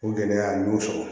O gɛlɛya n y'o sɔrɔ